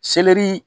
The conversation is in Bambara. Selɛri